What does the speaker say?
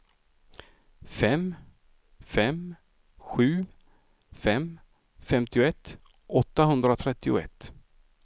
fem fem sju fem femtioett åttahundratrettioett